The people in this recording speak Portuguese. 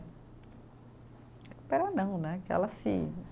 Recuperar não né, que elas se